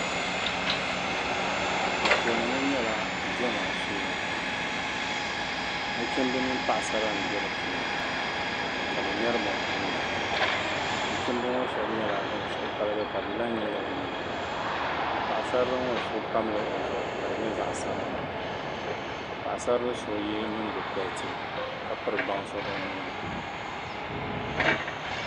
anfooni ŋɔ nyɛla diɛma shee nachimba mini paɣisara m-be di puuni ka bɛ ŋmɛri binkumda nachimba ŋɔ shɛba nyɛla ban suhu paligi ka bɛ la n-nyili bɛ nyina paɣisarili ŋɔ so pamla o zuɣu ka di nyɛ zaɣ' sabilinli ka paɣisarili so ye nyingokɔriti ka piri bansi o nuu ni